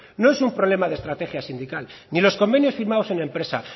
no es un problema de estrategia sindical ni los convenios firmados en empresa